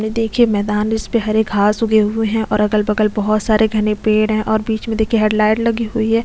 ये देखिए मैदान इस पे हरे घास उगे हुए है और अगल - बगल बहुत सारे घने पेड़ है और बीच में देखिए हैड लाइट लगी हुई है।